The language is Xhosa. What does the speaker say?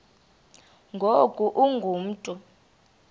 ngoku ungu mntu